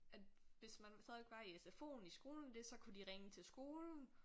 At hvis man stadigvæk var i SFO'en i skolen det så kunne de ringe til skolen